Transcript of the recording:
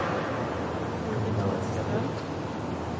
Filip Malmström